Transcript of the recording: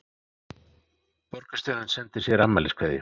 Borgarstjórinn sendir sér afmæliskveðju